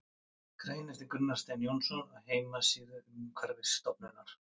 Grein eftir Gunnar Stein Jónsson á heimasíðu Umhverfisstofnunar.